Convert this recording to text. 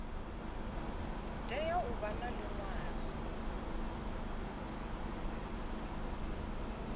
tea u vha na liṅwalo